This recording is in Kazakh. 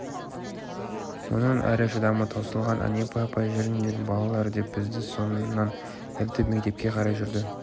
мұнан әрі шыдамы таусылған әнипа апай жүріңдер балалар деп бізді соңынан ертіп мектепке қарай жүрді